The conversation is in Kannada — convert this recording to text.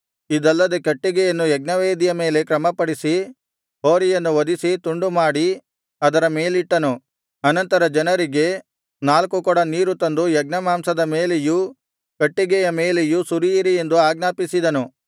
ಇದಲ್ಲದೆ ಕಟ್ಟಿಗೆಯನ್ನು ಯಜ್ಞವೇದಿಯ ಮೇಲೆ ಕ್ರಮಪಡಿಸಿ ಹೋರಿಯನ್ನು ವಧಿಸಿ ತುಂಡು ಮಾಡಿ ಅದರ ಮೇಲಿಟ್ಟನು ಅನಂತರ ಜನರಿಗೆ ನಾಲ್ಕು ಕೊಡ ನೀರು ತಂದು ಯಜ್ಞಮಾಂಸದ ಮೇಲೆಯೂ ಕಟ್ಟಿಗೆಯ ಮೇಲೆಯೂ ಸುರಿಯಿರಿ ಎಂದು ಆಜ್ಞಾಪಿಸಿದನು